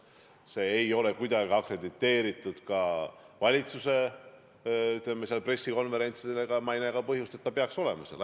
See ei ole kuidagi akrediteeritud valitsuse pressikonverentsidel ja ma ei näe ka põhjust, miks ta peaks olema.